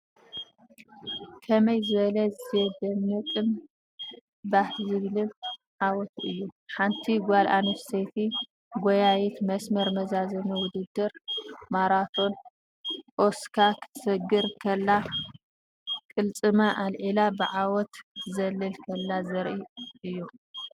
ከመይ ዝበለ ዜደንቕን ባህ ዘብልን ዓወት እዩ! ሓንቲ ጓል ኣንስተይቲ ጎያዪት መስመር መዛዘሚ ውድድር ማራቶን ኦሳካ ክትሰግር ከላ፡ ቅልጽማ ኣልዒላ ብዓወት ክትዘልል ከላ ዘርኢ እዩ።